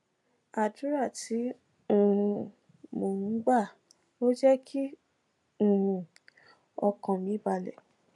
àdúrà tí um mò ń gbà ló jé kí um ọkàn mi balè